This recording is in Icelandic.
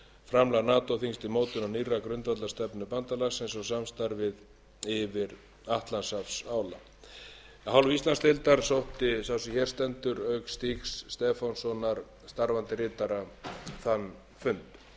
framlag nato þingsins til mótunar nýrrar grundvallarstefnu bandalagsins og samstarfið yfir atlantshafsála af hálfu íslandsdeildar sótti sá sem hér stendur auk stígs stefánssonar starfandi ritara þann fund eins og